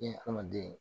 hadamaden